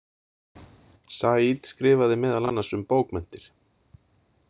Said skrifaði meðal annars um bókmenntir.